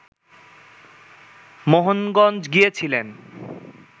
মোহনগঞ্জ গিয়েছিলেন